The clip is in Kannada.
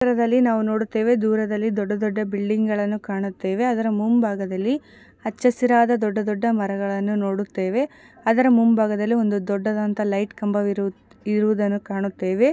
ಈ ಚಿತ್ರದಲ್ಲಿ ನಾವು ನೋಡುತ್ತೆವೆ ದೂರದಲ್ಲಿ ದೊಡ್ಡದೊಡ್ಡ ಬಿಲ್ಡಿಂಗ ಗಳನ್ನು ಕಾಣುತ್ತೇವೆ ಅದರ ಮುಂಭಾಗದಲ್ಲಿ ಹಚ್ಚ ಹಸಿರಾದ ದೊಡ್ಡದೊಡ್ಡ ಮರಗಳನ್ನು ನೋಡುತ್ತೇವೆ ಅದರ ಮುಂಭಾಗದಲ್ಲಿ ಒಂದು ದೊಡ್ಡದಾದಂತಹ ಲೈಟ್ ಕಂಬವಿರು ಇರುವದನ್ನ ಕಾಣುತ್ತೆವೆ .